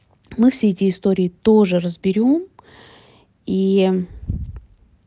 мы все эти истории тоже разберём и